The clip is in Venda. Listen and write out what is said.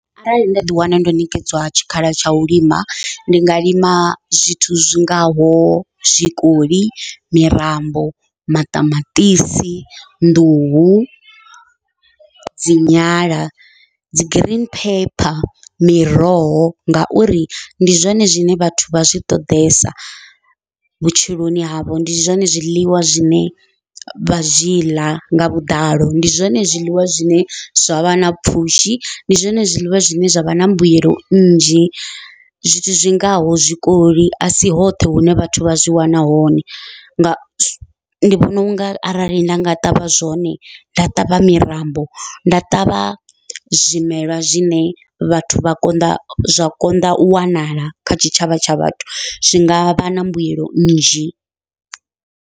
Arali nda ḓi wana ndo ṋekedzwa tshikhala tsha u lima ndi nga lima zwithu zwingaho zwikoli, mirambo, maṱamaṱisi, nḓuhu, dzi nyala, dzi green pepper, miroho ngauri ndi zwone zwine vhathu vha zwi ṱoḓesa vhutshiloni havho ndi zwone zwiḽiwa zwine vha zwi ḽa nga vhuḓalo, ndi zwone zwiḽiwa zwine zwavha na pfhushi ndi zwone zwiḽiwa zwine zwa vha na mbuyelo nnzhi zwithu zwingaho zwikoli asi hoṱhe hune vhathu vha zwi wana hone nga ndi vhona unga arali nda nga ṱavha zwone nda ṱavha mirambo nda ṱavha zwimelwa zwine vhathu vha konḓa zwa konḓa u wanala kha tshitshavha tsha vhathu zwi ngavha na mbuyelo nnzhi.